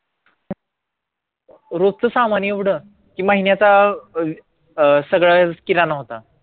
रोजचं सामान एवढं? की महिन्याचा अं अं सगळा किराणा होता